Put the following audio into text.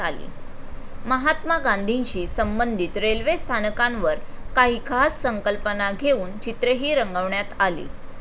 महात्मा गांधीशी संबंधित रेल्वे स्थानकांवर काही खास संकल्पना घेऊन चित्रेही रंगवण्यात आली.